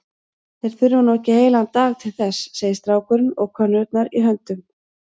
Þeir þurfa nú ekki heilan dag til þess, segir strákurinn og könnurnar í höndum